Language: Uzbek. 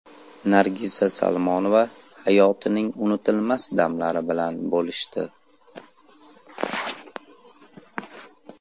Nargiza Salmonova hayotining unutilmas damlari bilan bo‘lishdi.